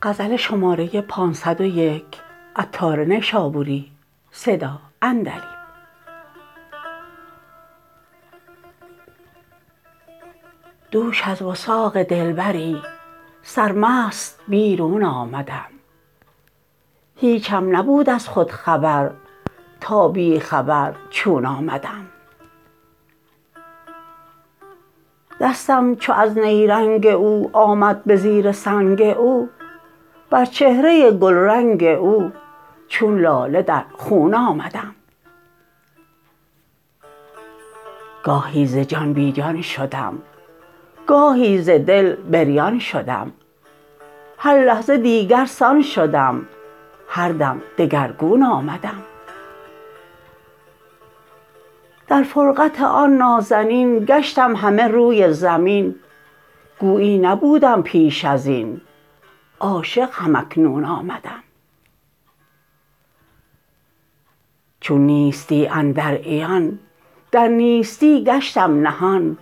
دوش از وثاق دلبری سرمست بیرون آمدم هیچم نبود از خود خبر تا بی خبر چون آمدم دستم چو از نیرنگ او آمد به زیر سنگ او بر چهره گلرنگ او چون لاله در خون آمدم گاهی ز جان بی جان شدم گاهی ز دل بریان شدم هر لحظه دیگر سان شدم هر دم دگرگون آمدم در فرقت آن نازنین گشتم همه روی زمین گویی نبودم پیش ازین عاشق هم اکنون آمدم چون نیستی اندر عیان در نیستی گشتم نهان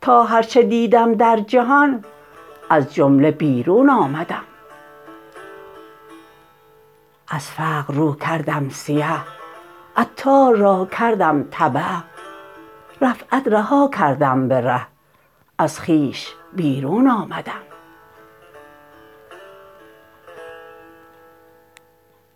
تا هرچه دیدم در جهان از جمله بیرون آمدم از فقر رو کردم سیه عطار را کردم تبه رفعت رها کردم به ره از خویش بیرون آمدم